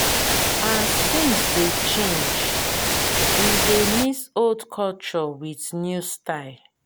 as tins dey change we dey mix old culture wit new style